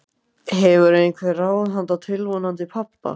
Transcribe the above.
Hefurðu einhver ráð handa tilvonandi pabba?